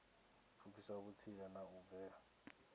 pfukisa vhutsila na u bvela